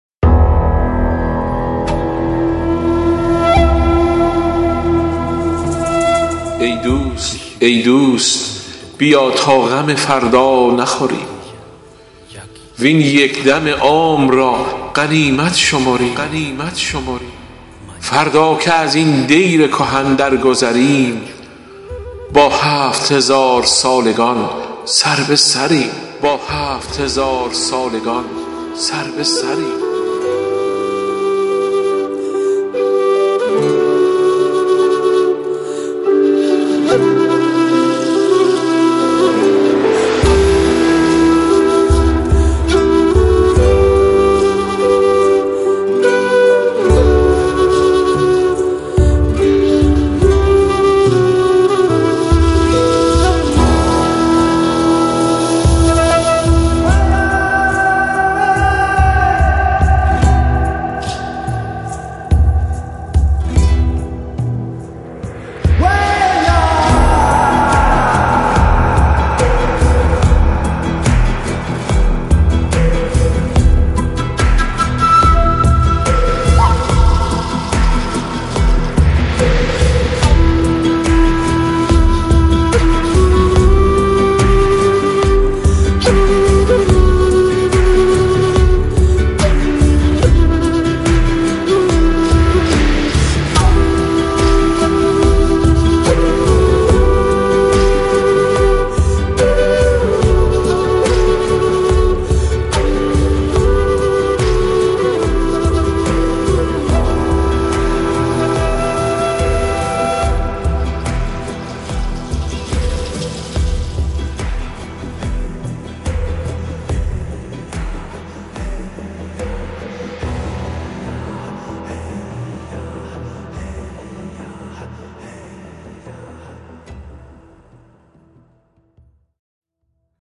ای دوست بیا تا غم فردا نخوریم وین یک دم عمر را غنیمت شمریم فردا که ازین دیر کهن درگذریم با هفت هزارسالگان سر به سریم